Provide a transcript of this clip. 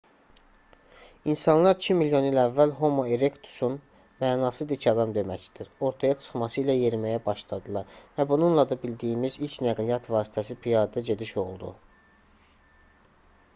i̇nsanlar iki milyon il əvvəl homo erektusun mənası dik adam deməkdir ortaya çıxması ilə yeriməyə başladılar və bununla da bildiyimiz ilk nəqliyyat vasitəsi piyada gediş oldu